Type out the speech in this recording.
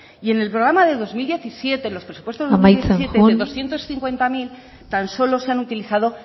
y en el programa de dos mil diecisiete amaitzen joan en los presupuestos de dos mil diecisiete de doscientos cincuenta mil tan solo se han utilizado